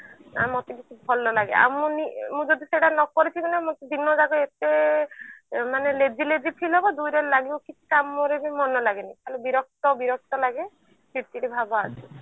ଆଉ ମତେ କିଛି ଭଲ ଲାଗେ ଆଉ ମୀନ ନି ନିଜେ ବି ସେଇଟା ନ କରିଥିବି ନା ମତେ ଦିନ ଯାକ ଏତେ lazy lazy feel ହବ ଦୁଇରେ ଲାଗିବ କି କିଛି କାମ ରେ ବି ମନ ଲଗେନି ଖାଲି ବିରକ୍ତ ବିରକ୍ତ ଲାଗେ ଚିଡ ଚିଡ ଭାବ ଆସେ